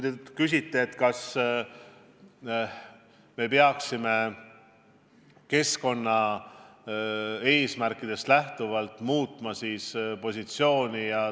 Te küsite, kas me peaksime keskkonnaeesmärkidest lähtuvalt oma positsiooni muutma.